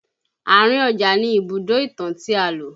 Àárín ọjà ni Ibùdó ìtàn tí a lò